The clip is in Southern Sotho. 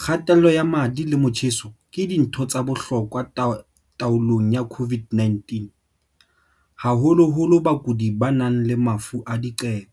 kga-tello ya madi le motjheso ke dintho tsa bohlokwa taolong ya COVID-19, haholoholo bakuding ba nang le mafu a diqebo.